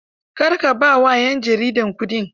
Kar ka ba wa 'yan jaridar kuɗi.